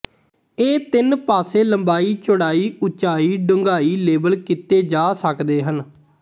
ਇਹ ਤਿੰਨ ਪਾਸੇ ਲੰਬਾਈ ਚੌੜਾਈ ਉੱਚਾਈਡੂੰਘਾਈ ਲੇਬਲ ਕੀਤੇ ਜਾ ਸਕਦੇ ਹਨ